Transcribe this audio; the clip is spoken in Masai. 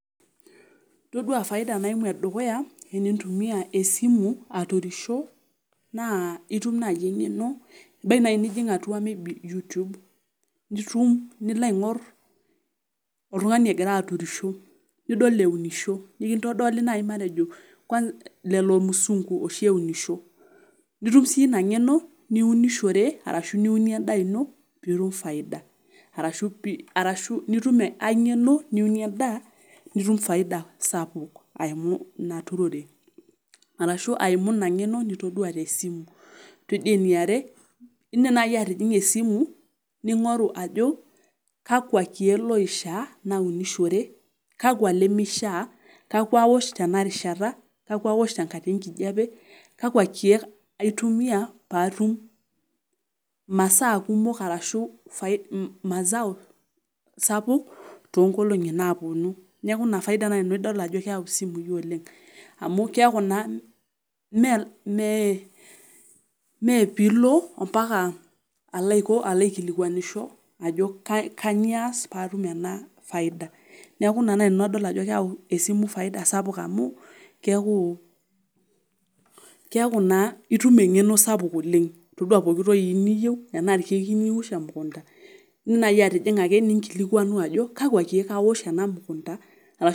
Todua faida naimu edukuya tenintumiya esimu aturisho, naa itum naai enkeno ebaiki naji atua YouTube nilo aingorr oltungani egira aturisho, nidol eunisho, nikintodoli naayi matejo kwansa lelo musunku eunisho nitum siyie ina nkeno niunishore, arashu niunie endaa ino nitum faida arashu nitum ainkeno niunie endaa nitum faida sapuk eimu inaturore, arashu aimu ina nkeno nitodua tesimu. Todua eniare, iidim naaji atijinga esimu ningoru ajo kakwa keek loishaa naunishore kakwa lomishaa, kakwa aosh tena rishata, kakwa tengata enkijape, kakwa keek aitumiya paatum imasaa kumok arashu masao sapuk toongolongi naaponu. Neeku ina faida naai adol nanu ajo keeu isimui oleng'. Amu keeku naa meepiilo ambaka aikilikwanisho, ajo kanyiio aas paatum ena faida. Neeku ina naaji adol nanu ajo keeu esimu faida sapuk amu keeku naa itum enkeno sapuk oleng'. Todua pooki toki niyieu enaa ilkeek iyieu niwosh emukunta idim naaji atijinga ningilikuanu ajo kakwa keek awosh ena mukunta.